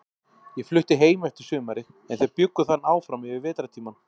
Ég flutti heim eftir sumarið, en þeir bjuggu þarna áfram yfir vetrartímann.